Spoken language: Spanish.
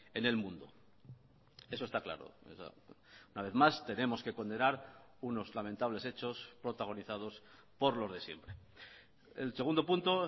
en el mundo eso está claro una vez más tenemos que condenar unos lamentables hechos protagonizados por los de siempre el segundo punto